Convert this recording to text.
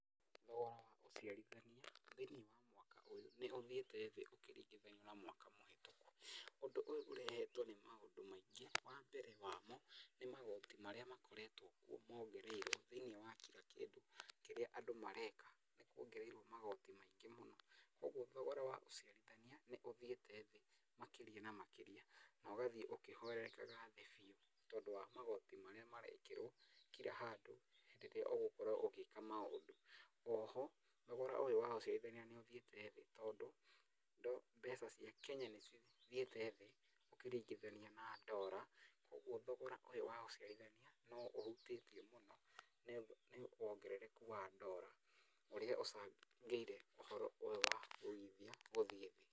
Thogora wa ũciarithania thĩiniĩ wa mwaka nĩ ũthiĩte thĩ ũkĩringithania na mwaka mũhĩtũku. Ũndũ ũyũ ũrehetwo nĩ maũndũ maingĩ. Wambere wamo nĩ magoti marĩa makoretwo kuo mongereirwo thĩiniĩ wa kira kĩndũ kĩrĩa andũ mareka. Nĩ kuongereirwo magoti maingĩ mũno, kuũguo thogora wa ũciarithania, nĩ ũthiĩte thĩ makĩria na makĩria, na ũgathiĩ ũkĩhwererekaga thĩ biũ, tondũ wa magoti marĩa marekĩrwo kira handũ rĩrĩa ũgũkorwo ũgĩka maũndũ. Oho thogora ũyũ wa ũciarithania nĩ ũthiĩte thĩ tondũ, mbeca cia Kenya nĩ cithiĩte thĩ ũkĩringithania na ndora, ũguo thogora ũyũ wa ũciarithania no ũhutĩtio mũno nĩ wongerereku wa ndora, ũrĩa ũcangĩire thogora wa uigithia ũthiĩ thĩ.